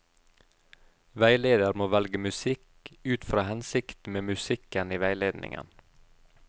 Veileder må velge musikk ut fra hensikten med musikken i veiledningen.